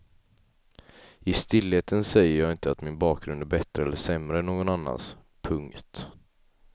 I stillheten säger jag inte att min bakgrund är bättre eller sämre än någon annans. punkt